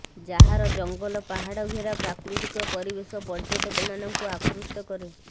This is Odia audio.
ଯାହାର ଜଙ୍ଗଲ ପାହାଡ ଘେରା ପ୍ରାକୃତିକ ପରିବେଶ ପର୍ୟ୍ୟଟକମାନଙ୍କୁ ଆକୃଷ୍ଟ କରେ